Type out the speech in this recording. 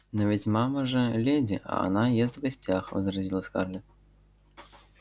но ведь мама же леди а она ест в гостях возразила скарлетт